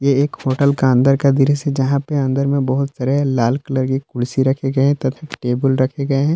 एक होटल का दृश्य है जहाँ पे अंदर मे बहुत सारे लाल कलर की कुर्सी रखी गई है तथा टेबल रखी गई है।